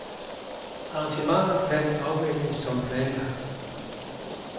Arrangementet kan afvikles som planlagt.